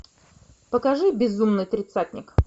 покажи безумный тридцатник